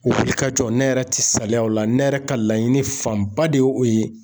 O wulikajɔ nɛ yɛrɛ ti saliya o la nɛ yɛrɛ ka laɲini fanba de o o ye.